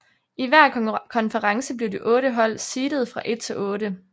I hver konference blev de otte hold seedet fra 1 til 8